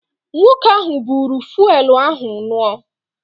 Nwoke ahụ buuru fụelụ ahụ ṅụọ.